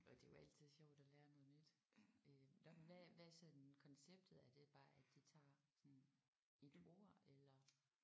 Og det er jo altid sjovt at lære noget nyt. Øh nåh hvad hvad er sådan konceptet er det bare at de tager sådan et ord eller